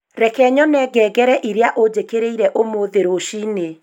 Reke nyone ngengere iria ujikiririre umuthi rũcinĩ